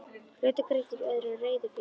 Hlutir greiddir í öðru en reiðufé.